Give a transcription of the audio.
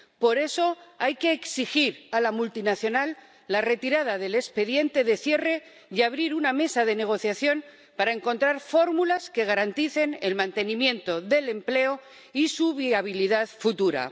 Por eso hay que exigir a la multinacional la retirada del expediente de cierre y abrir una mesa de negociación para encontrar fórmulas que garanticen el mantenimiento del empleo y su viabilidad futura.